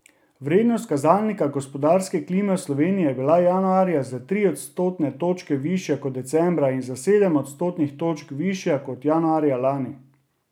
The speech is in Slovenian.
Vrednost kazalnika gospodarske klime v Sloveniji je bila januarja za tri odstotne točke višja kot decembra in za sedem odstotnih točk višja kot januarja lani.